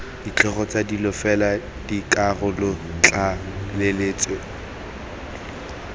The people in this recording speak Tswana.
ditlhogo tsa dilo fela dikarolotlaleletso